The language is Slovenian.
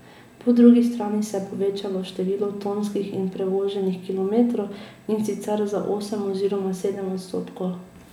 Po drugi strani se je povečalo število tonskih in prevoženih kilometrov, in sicer za osem oziroma sedem odstotkov.